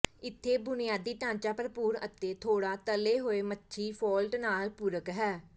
ਇਥੇ ਬੁਨਿਆਦੀ ਢਾਂਚਾ ਭਰਪੂਰ ਅਤੇ ਥੋੜ੍ਹਾ ਤਲੇ ਹੋਏ ਮੱਛੀ ਫਾਲਟ ਨਾਲ ਪੂਰਕ ਹੈ